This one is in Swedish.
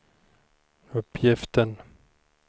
uppgiften